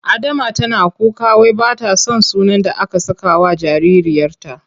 Adama tana kuka wai ba ta son sunan da aka sakawa jaririyarta.